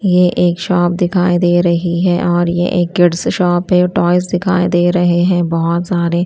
ये एक शॉप दिखाई दे रही है और ये एक किड्स शॉप है टॉयज दिखाई दे रहे हैं बहोत सारे।